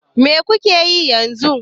Me kuke yi yanzu?